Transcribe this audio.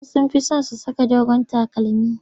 Wasu sun fi son su saka dogon takalmi.